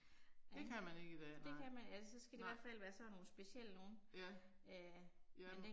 Det kan man ikke i dag nej. Nej. Ja. Ja